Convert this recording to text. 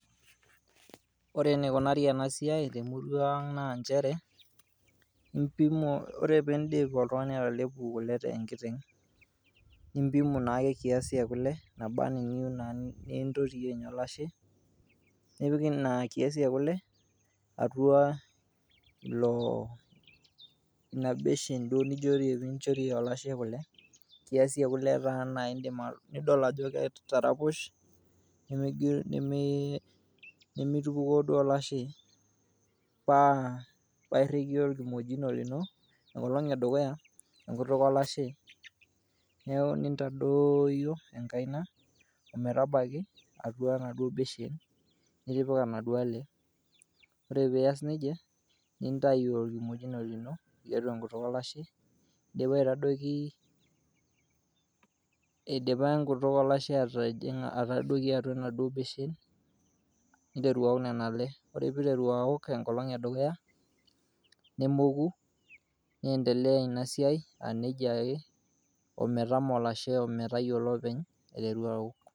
Ore enikunari ena siai te murua ang' naa njere impimu kore piindip oltung'ani atelepu kule te nkiteng', nimpimu naake kiasi e kule naaba naa niyeu naa nintotiyie olashe, nipik ina kiasi e kule atua ilo ina beshen duo ninjoie olashe kule, kiasi e kule naa nidol ajo kitaraposh, nemitupukoo olashe. Paa paa iriki orkimojino lino enkolong' e dukuya enkutuk olashe neeku nintadooyio enkaina ometaki enaduo beshen nitipika naduo ale. Ore pias neija nintayu orkimojino lino tiatua enkutuk olashe indipa aitadoiki ,idipa enkutuk olashe atijing'a atadoki enaduo beshen niteru awok nena kule. Ore piiteru awok enkolong' e dukuya nemoku niendelea ina siai a neja ake ometamoo olashe o metayolo openy aiteru awok.